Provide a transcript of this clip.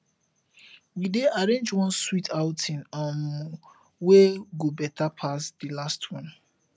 we dey arrange one sweet outing um wey go better pass di last one